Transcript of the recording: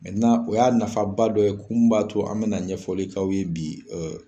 o y'a nafaba dɔ ye, kun mun b'a to an be na ɲɛfɔli k'aw ye bi ee